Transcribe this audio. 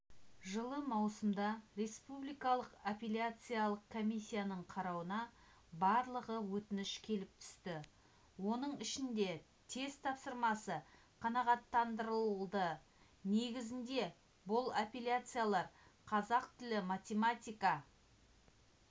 жылы маусымда республикалық апелляциялық комиссияның қарауына барлығы өтініш келіп түсті оның ішінде тест тапсырмасы қанағаттандырылды негізінде бұл апелляциялар қазақ тілі математика